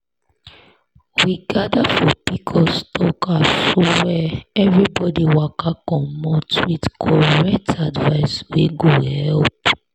we gather for pcos talk aswear everybody waka commot with correct advice wey go help.